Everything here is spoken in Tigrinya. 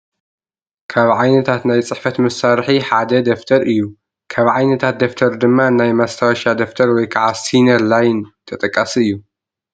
ካብ ዓይነታት ናይ ፅሕፈት መሳርሒ ሓደ ደፍተር እዩ፡፡ ካብ ዓይነታት ደፍተር ድማ ናይ ማስታወሻ ደፍተር ወይ ከዓ ሲነር ላይን ተጠቃሲ እዩ፡፡